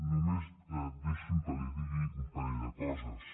només deixi’m que li digui un parell de coses